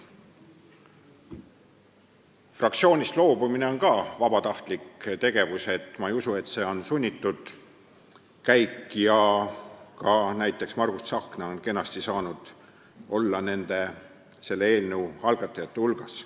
Fraktsioonist loobumine on vabatahtlik tegevus – ma ei usu, et see on sunnitud käik – ja ka näiteks Margus Tsahkna on kenasti saanud olla selle eelnõu algatajate hulgas.